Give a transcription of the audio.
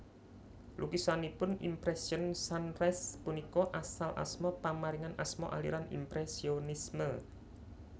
Lukisanipun Impression Sunrise punika asal asma pamaringan asma aliran impresionisme